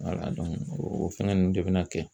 o fɛngɛ nunnu de bɛna kɛ.